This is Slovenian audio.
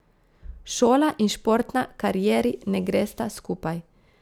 Šola in športna karieri ne gresta skupaj.